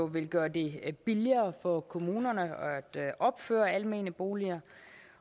vil gøre det billigere for kommunerne at opføre almene boliger